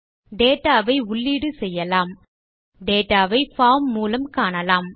data ஐ உள்ளீடு செய்யலாம் டேட்டா வை பார்ம் மூலம் காணலாம்